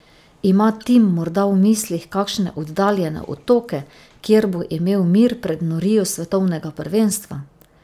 Ima Tim morda v mislih kakšne oddaljene otoke, kjer bo imel mir pred norijo svetovnega prvenstva?